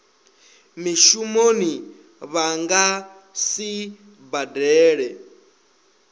mushumoni vha nga si badele